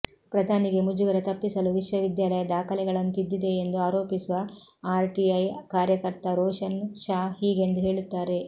ಪ್ರಧಾನಿಗೆ ಮುಜುಗರ ತಪ್ಪಿಸಲು ವಿಶ್ವವಿದ್ಯಾಲಯ ದಾಖಲೆಗಳನ್ನು ತಿದ್ದಿದೆಯೆಂದು ಆರೋಪಿಸುವ ಆರ್ಟಿಐ ಕಾರ್ಯಕರ್ತ ರೋಶನ್ ಶಾ ಹೀಗೆಂದು ಹೇಳುತ್ತಾರೆ